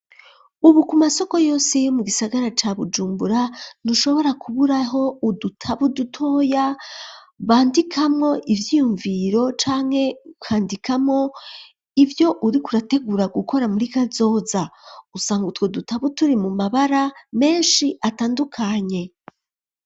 Ubu, ku masoko yose, yo mu gisagara ca Bujumbura, ntushobora kuburaho, udutabo dutoya, bandikamwo iyiyumviro, canke ukandikamwo, ivyo uriko urategura gukora, muri kazoza; usanga utwo dutabo, turi mu mabara menshi, atandukanye.